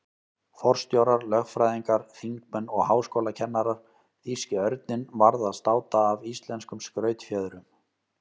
Forstjórar, lögfræðingar, þingmenn og háskólakennarar- þýski örninn varð að státa af íslenskum skrautfjöðrum.